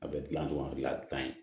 A bɛ dilan ɲɔgɔn fɛ a ka ɲi